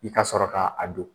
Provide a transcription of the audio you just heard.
I ka sɔrɔ ka a don